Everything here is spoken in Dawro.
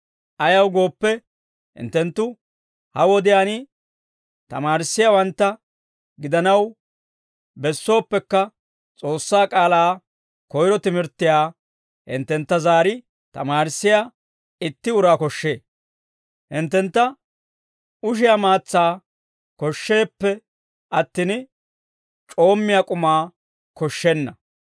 Ayaw gooppe, hinttenttu ha wodiyaan tamaarissiyaawantta gidanaw bessooppekka, S'oossaa k'aalaa koyro timirttiyaa hinttentta zaari tamaarissiyaa itti uraa koshshee; hinttentta ushiyaa maatsaa koshsheeppe attin, c'oommiyaa k'umaa koshshenna.